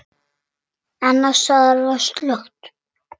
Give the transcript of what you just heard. Annars staðar var slökkt.